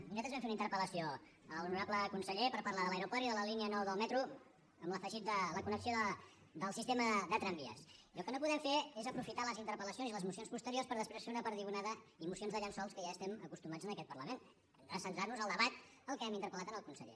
nosaltres vam fer una interpellació a l’honorable conseller per parlar de l’aeroport i de la línia nou del metro amb l’afegit de la connexió del sistema de tramvies i el que no podem fer és aprofitar les interpel·lacions i les mocions posteriors per després fer una perdigonada i mocions de llençols que ja hi estem acostumats en aquest parlament hem de centrar nos en el debat a què hem interpel·lat al conseller